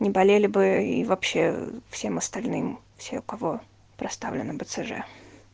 не болели бы и вообще всем остальным все у кого проставлено бцж